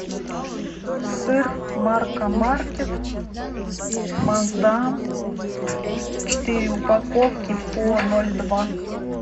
сыр марка маркет маасдам четыре упаковки по ноль два